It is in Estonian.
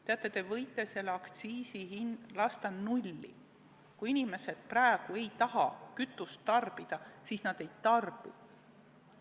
Teate, te võite selle aktsiisi lasta nulli, aga kui inimesed praegu ei taha kütust tarbida, siis nad ei tarbi.